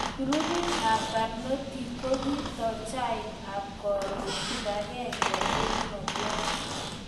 Grupit ab barnotik kokitoi chaik ab koron kipagenge eng ngolyot